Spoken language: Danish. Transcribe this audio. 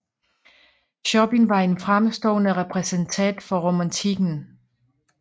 Chopin var en fremstående repræsentant for romantikken